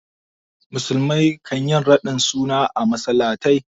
Musulmai kan yi raɗin suna a masallatai.